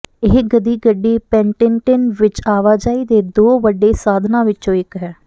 ਇਹ ਗਧੀ ਗੱਡੀ ਪੈਂਟਿਨਟਿਨ ਵਿਚ ਆਵਾਜਾਈ ਦੇ ਦੋ ਵੱਡੇ ਸਾਧਨਾਂ ਵਿਚੋਂ ਇਕ ਹੈ